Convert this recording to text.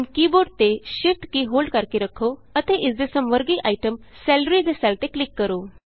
ਹੁਣ keyboard ਤੇ Shift ਕੀ ਹੋਲਡ ਕਰਕੇ ਰੱਖੋ ਅਤੇ ਇਸ ਦੇ ਸਮਵਰਗੀ ਆਈਟਮ ਸੈਲਰੀ ਦੇ ਸੈੱਲ ਤੇ ਕਲਿਕ ਕਰੋ